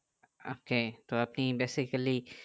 ok তো আপনি basically